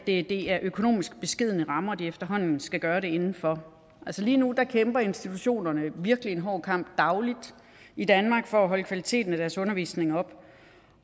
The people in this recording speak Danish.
det er økonomisk beskedne rammer de efterhånden skal gøre det inden for altså lige nu kæmper institutionerne virkelig en hård kamp dagligt i danmark for at holde kvaliteten af deres undervisning oppe